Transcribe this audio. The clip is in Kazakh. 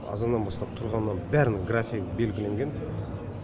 азаннан бастап тұрғаннан бәрінің графигі белгіленген